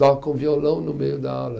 Tocam violão no meio da aula.